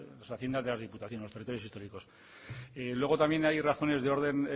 las haciendas de las diputaciones de los territorios históricos luego también hay razones de orden